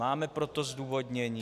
Máte pro to zdůvodnění?